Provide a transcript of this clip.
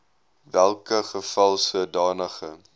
welke geval sodanige